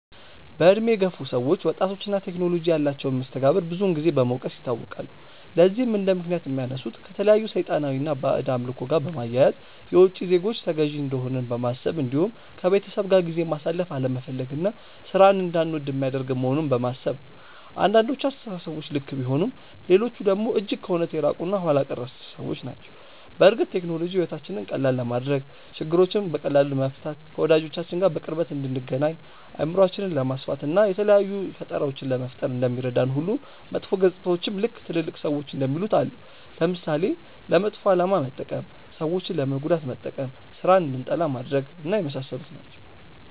በእድሜ የገፉ ሰዎች ወጣቶች እና ቴክኖሎጂ ያላቸውን መስተጋብር ብዙን ጊዜ በመውቀስ ይታወቃሉ። ለዚህም እንደምክንያት የሚያነሱት ከተለያዩ ሰይጣናዊ እና ባዕድ አምልኮ ጋር በማያያዝ፣ የውቺ ዜጎች ተገዢ እንደሆንን በማሰብ እንዲሁም ከቤተሰብ ጋር ጊዜ ማሳለፍ አለመፈለግ እና ሥራን እንዳንወድ የሚያደርግ መሆኑን በማሰብ ነው። አንዳንዶቹ አስተሳሰቦች ልክ ቢሆኑም ሌሎቹ ደግሞ እጅግ ከእውነት የራቁ እና ኋላ ቀር አስተሳሰቦች ናቸው። በእርግጥ ቴክኖሎጂ ሕይወታችንን ቀላል ለማድረግ፣ ችግሮችን በቀላሉ ለመፍታት፣ ከወዳጆቻችን ጋር በቅርበት እንድንገናኝ፣ አእምሯችንን ለማስፋት፣ እና የተለያዩ ፈጠራዎችን ለመፍጠር እንደሚረዳን ሁሉ መጥፎ ገፅታዎችም ልክ ትልልቅ ሰዎች እንደሚሉት አለው። ለምሳሌ፦ ለመጥፎ አላማ መጠቀም፣ ሰዎችን ለመጉዳት መጠቀም፣ ስራን እንድንጠላ ማድረግ፣ የመሳሰሉት ናቸው።